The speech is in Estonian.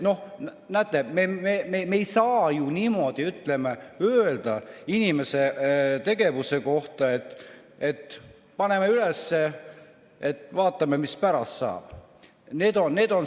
Näete, me ei saa ju niimoodi öelda inimese tegevuse kohta, et paneme üles, vaatame, mis pärast saab.